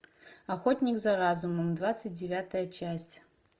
охотник за разумом двадцать девятая часть